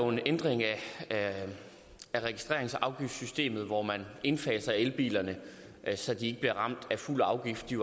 en ændring af registreringsafgiftssystemet hvor man indfaser elbilerne så de ikke bliver ramt af fuld afgift de